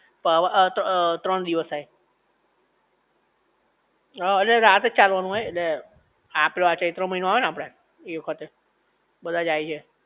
પાવા આતો આ ત્રણ દિવસ થાય હઅ એટલે રાતે જ ચાલવાનું હોય ઍટલે આ પેલો આ ચૈત્ર મહિનો આવે ને આપડે એ વખતે બધા જાય છે